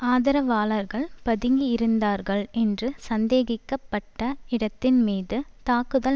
ஆதரவாளர்கள் பதுங்கியிருந்தார்கள் என்று சந்தேகிக்க பட்ட இடத்தின்மீது தாக்குதல்